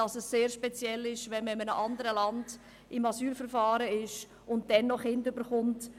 Es ist sehr speziell, wenn man sich in einem anderen Land in einem Asylverfahren befindet und dann noch Kinder bekommt.